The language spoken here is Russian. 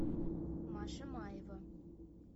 маша маева